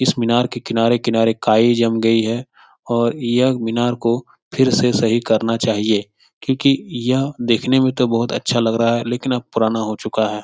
इस मीनार के किनारे किनारे काई जम गई है और यह मीनार को फिर से सही करना चाहिए क्यूंकि यह देखने में तो बहुत अच्छा लग रहा है लेकिन अब पुराना हो चुका है।